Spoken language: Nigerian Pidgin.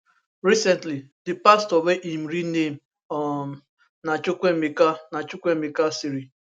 recently di pastor wey im real name um na chukwuemeka na chukwuemeka cyril